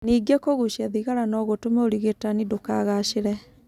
Ningĩ kũgucia thigara no gũtũme ũrigitani ndũkagaacĩre.